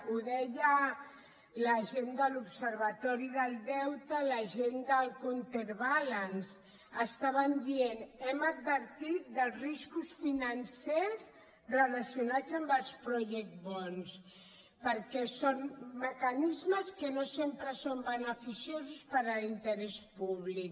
ho deien la gent de l’observatori del deute la gent del counter balance estaven dient hem advertit dels riscos financers relacionats amb els project bondsperquè són mecanismes que no sempre són beneficiosos per a l’interès públic